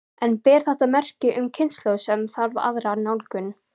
En ber þetta merki um kynslóð sem þarf aðra nálgun?